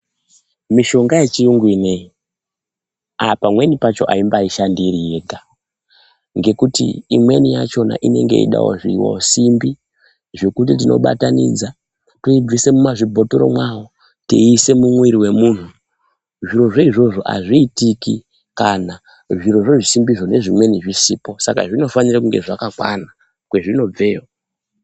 Mushonga yechiyungu ineyi pamweni pakona aimbashandi iriyega ngekuti ikweni yakona inenge yeidawo zvisimbi zvekuti tinoibatanidza toibvise muzvimabhotoro mwayo teise mumwiri mwemuntu. Zvirozvo izvozvo azviitiki kana zvisimbi izvozvo zvisipo Saka zvinofanira kunge zvakakwana kwezvinobve iyoyo.